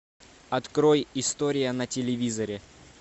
открой история на телевизоре